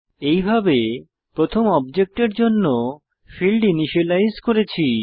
এইভাবে প্রথম অবজেক্টের জন্য ফীল্ড ইনিসিয়েলাইজ করেছি